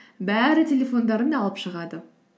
бәрі телефондарын алып шығады